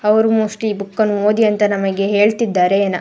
ಅವ್ರು ಮೋಸ್ಟ್ಲಿ ಈ ಬುಕ್ಕನ್ನು ಓದಿ ಅಂತ ನಮಗೆ ಹೇಳತ್ತಿದ್ದಾರೆ ಏನ.